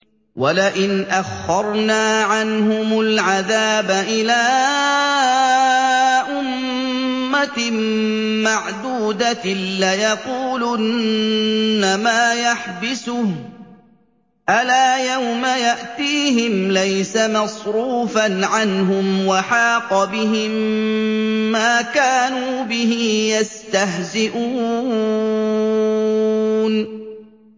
وَلَئِنْ أَخَّرْنَا عَنْهُمُ الْعَذَابَ إِلَىٰ أُمَّةٍ مَّعْدُودَةٍ لَّيَقُولُنَّ مَا يَحْبِسُهُ ۗ أَلَا يَوْمَ يَأْتِيهِمْ لَيْسَ مَصْرُوفًا عَنْهُمْ وَحَاقَ بِهِم مَّا كَانُوا بِهِ يَسْتَهْزِئُونَ